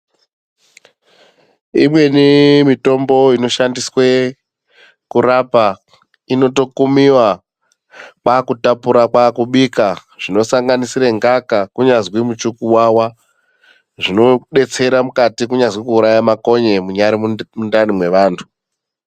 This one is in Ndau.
Imweni mitombo inoshandkswe kurapa inotokumiwe kwakutapura kwakubika zvinosanganisira ngaka kunyazi muchikuwawa zvinodetsera mukati kunyazi kuuraya makonye munyari mundani mwevantu.